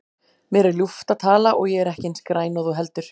Mér er ljúft að tala og ég er ekki eins græn og þú heldur.